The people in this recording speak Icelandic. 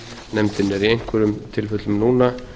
nefndinni er í einhverjum tilfellum núna